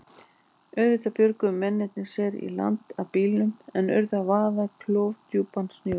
Auðvitað björguðu mennirnir sér í land af bílnum en urðu að vaða klofdjúpan sjó.